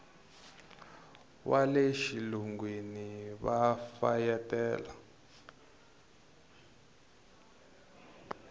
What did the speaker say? wa le xilungwini va fayetela